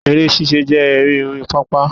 Eré sísá jẹ́ eré orí pápá